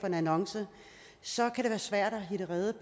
en annonce og så kan det være svært at hitte rede